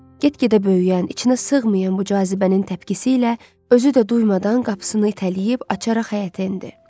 Get-gedə böyüyən, içinə sığmayan bu cazibənin təpkisi ilə özü də duymadan qapısını itələyib açaraq həyətə endi.